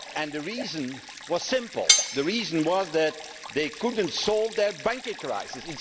The reason was simple. The reason was that they could not solve their banking crisis.